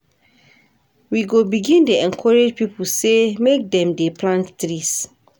We go begin dey encourage pipo sey make dem dey plant trees.